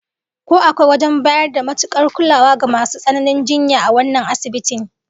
Ko akwai wajen bayar da matukar kulawa ga masu tsananin jinya a wannan asibitin?